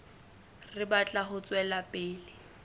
re batla ho tswela pele